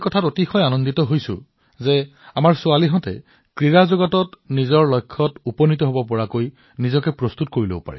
মই বিশেষকৈ সুখী যে কন্যাসকলে খেলত এক নতুন স্থান সৃষ্টি কৰি আছে